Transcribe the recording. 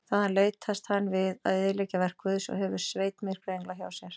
Þaðan leitast hann við að eyðileggja verk Guðs og hefur sveit myrkra engla hjá sér.